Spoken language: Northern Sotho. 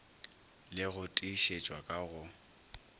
le go tiišetšwa ka go